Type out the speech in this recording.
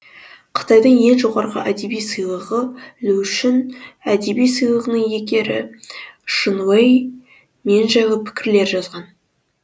қытайдың ең жоғарғы әдеби сыйлығы лушүн әдеби сыйлығының иегері шэн уэй мен жайлы пікірлер жазған